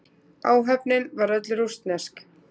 Áhöfnin var öll rússnesk